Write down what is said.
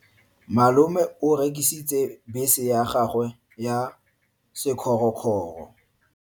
Malome o rekisitse bese ya gagwe ya sekgorokgoro.